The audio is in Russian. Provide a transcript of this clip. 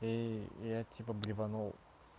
и я типа блеванул